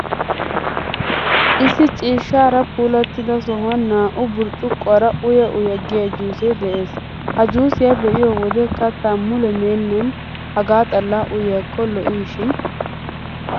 Issi ciishshaara puulattida sohuwan naa''u burccuqquwaara uya uya giyaa juusee de'ees. Ha juusiyaa be'iyoo wode kattaa mule meennan hagaa xallaa uyiyaakko lo'oshin!!!